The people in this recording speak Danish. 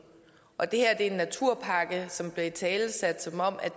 og at det her er en naturpakke som blev italesat som om